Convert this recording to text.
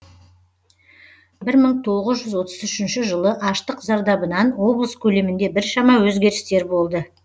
бір мың тоғыз жүз отыз үшінші жылы аштық зардабынан облыс көлемінде біршама өзгерістер болды